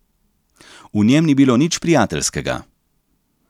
V njem ni bilo nič prijateljskega.